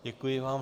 Děkuji vám.